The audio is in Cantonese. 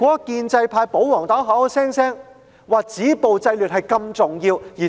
建制派及保皇黨聲稱止暴制亂十分重要。